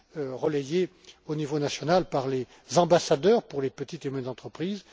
Il est relayé au niveau national par les ambassadeurs pour les petites et moyennes entreprises.